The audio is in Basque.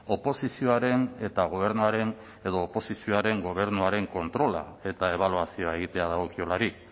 oposizioaren eta gobernuaren edo oposizioaren gobernuaren kontrola eta ebaluazioa egitea dagokiolarik